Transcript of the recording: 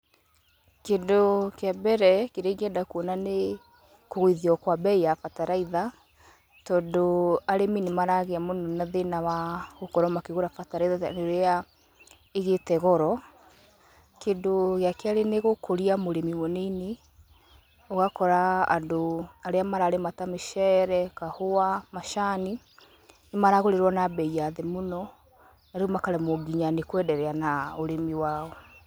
Kĩndũ kĩa mbere, kĩrĩa ingĩenda kuona nĩ kũgũithio kwa mbei ya bataraitha, tondũ arĩmi nĩmaragĩa mũno na thĩna wa gũkorwo makĩgũra bataraitha rĩrĩa ĩgĩte goro, kĩndũ gĩa kerĩ nĩgũkũria mũrĩmi mũnini, ũgakora andũ arĩa mararĩma ta mĩcere, kahũa, macani, nĩmaragũrĩrwo na bei ya thĩ mũno, na rĩu makaremwo nginya nĩkwenderea na ũrĩmi wao.